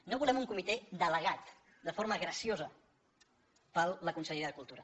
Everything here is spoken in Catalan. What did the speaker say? no volem un comitè delegat de forma graciosa per la conselleria de cultura